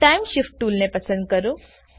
time shift toolને પસંદ કરો